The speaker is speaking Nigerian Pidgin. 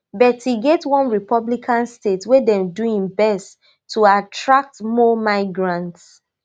but e get one republican state wey dey do im best to attract more migrants